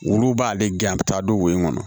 Olu b'ale gɛn a bɛ taa don wo in kɔnɔ